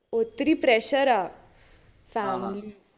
ഒത്തിരി pressure ആ family